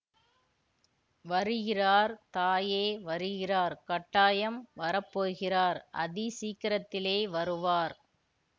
வருகிறார் தாயே வருகிறார் கட்டாயம் வரப்போகிறார் அதி சீக்கிரத்திலே வருவார்